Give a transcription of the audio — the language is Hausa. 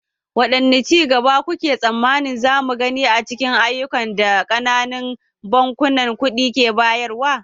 Wane ci gaba kuke tsammanin za mu gani a cikin ayyukan da ƙananan bankunan kuɗi ke bayarwa?